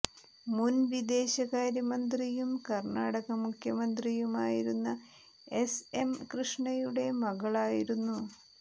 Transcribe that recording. മുൻ വിദേശ കാര്യമന്ത്രിയും കർണാടക മുഖ്യമന്ത്രിയുമായിരുന്ന എസ് എം കൃഷ്ണയുടെ മകളായിരുന്നു